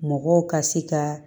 Mɔgɔw ka se ka